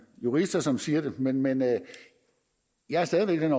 jurister som siger det men men jeg er stadig væk af den